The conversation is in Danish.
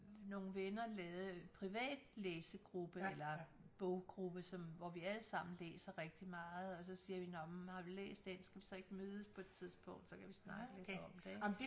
Nogle venner lavet privat læsegruppe eller boggruppe som hvor vi alle sammen læser rigtig meget og så siger vi nåh men har du læst den skal vi så ikke mødes på et tidspunkt så kan vi snakke lidt om det ik